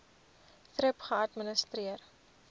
thrip geadministreer